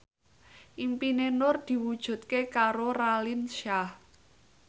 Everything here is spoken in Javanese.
impine Nur diwujudke karo Raline Shah